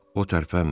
O tərpənmir.